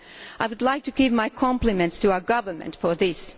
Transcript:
I would like to pay my compliments to our government for this.